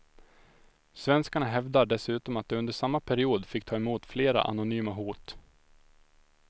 Svenskarna hävdar dessutom att de under samma period fick ta emot flera anonyma hot.